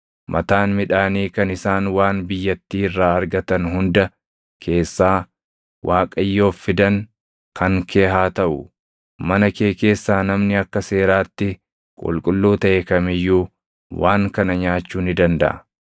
Mataan midhaanii kan isaan waan biyyattii irraa argatan hunda keessaa Waaqayyoof fidan kan kee haa taʼu; mana kee keessaa namni akka seeraatti qulqulluu taʼe kam iyyuu waan kana nyaachuu ni dandaʼa.